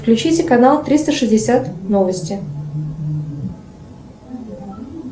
включите канал триста шестьдесят новости